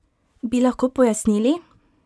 Bi lahko pojasnili?